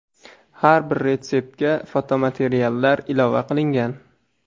Har bir retseptga fotomateriallar ilova qilingan.